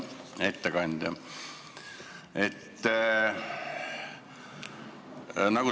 Hea ettekandja!